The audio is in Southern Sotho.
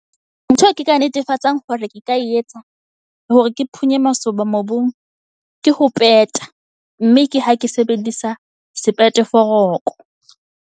Ntho eo ke ka netefatsang hore ke ka etsa hore ke phunye masoba mobung. Ke ho peta, mme ke ha ke sebedisa sepete foroko.